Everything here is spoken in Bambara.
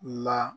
Ma